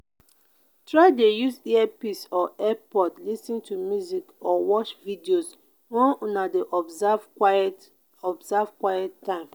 try de use earpiece or earpods lis ten to music or watch videos when una de observe quite observe quite time